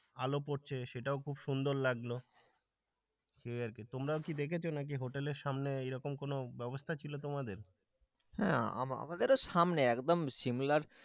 আলো পড়ছে সেটাও খুব সুন্দর লাগলো। সেই আরকি তোমরাও কি দেখেছ নাকি হোটেলের সামনে মানে এইরকম কোন ব্যবস্থা ছিল তোমাদের? হ্যাঁ আমাদেরও সামনে একদম সিমলার,